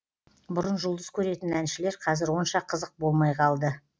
бұрын жұлдыз көретін әншілер қазір онша қызық болмай қалды